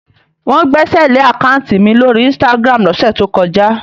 Wọ́n gbẹ́sẹ̀lé àkáùntì mi lórí Instagram lọ́sẹ̀ tó kọjá.